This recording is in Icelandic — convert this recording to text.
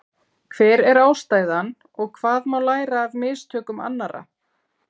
Hver er ástæðan og hvað má læra af mistökum annarra?